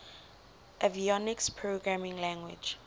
avionics programming language